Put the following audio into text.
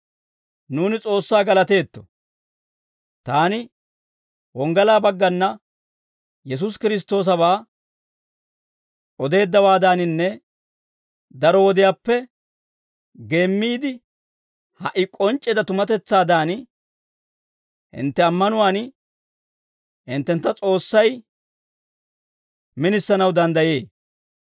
Nuuni S'oossaa galateetto. Taani wonggalaa baggana Yesuusi Kiristtoosabaa odeeddawaadaninne daro wodiyaappe geemmiide, ha"i k'onc'c'eedda tumatetsaadan, hintte ammanuwaan hinttentta S'oossay minisanaw danddayee.